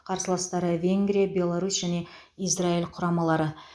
қарсыластары венгрия беларусь және израиль құрамалары